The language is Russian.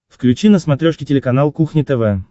включи на смотрешке телеканал кухня тв